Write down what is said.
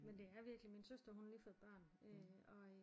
Men det er virkelig min søster hun har lige fået et barn øh og øh